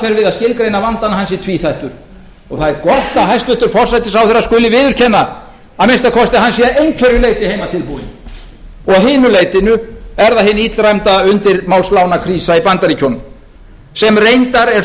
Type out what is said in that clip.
við að skilgreina vandann að hann sé tvíþættur og það er gott að hæstvirtur forsætisráðherra skuli viðurkenna að hann sé að minnsta kosti að einhverju leyti heimatilbúinn og að hinu leytinu er það hin illræmda undirmálslánakrísa í bandaríkjunum sem reyndar er